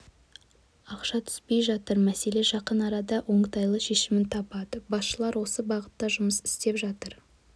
ақша түспей жатыр мәселе жақын арада оңтайлы шешімін табады басшылар осы бағытта жұмыс істеп жатыр